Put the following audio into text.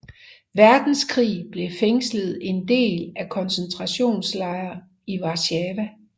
Verdenskrig blev fængslet en del af koncentrationslejren i Warszawa